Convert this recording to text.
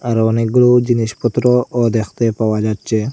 আরো অনেকগুলোও জিনিসপত্রও দেখতে পাওয়া যাচ্চে ।